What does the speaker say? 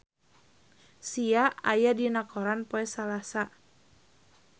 Sia aya dina koran poe Salasa